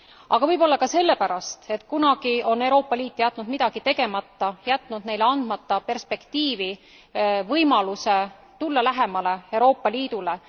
Aga võib olla ka sellepärast, et kunagi on Euroopa Liit jätnud midagi tegemata, jätnud neile andmata perspektiivi, võimaluse tulla lähemale Euroopa Liidule.